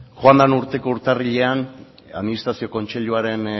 joan den urteko urtarrilean administrazio kontseiluaren